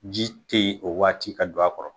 Ji te yen o waati ka don a kɔrɔ